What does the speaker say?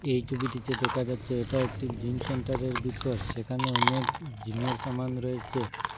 এই ছবিটিতে দেখা যাচ্ছে এটা একটি জিম সেন্টারের ভিতর সেখানে অনেক জিমের রয়েছে।